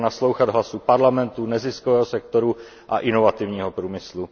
Stačilo naslouchat hlasu parlamentů, neziskového sektoru a inovativního průmyslu.